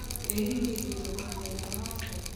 ĩ hihi thiĩ thoko mũthenya wa ooke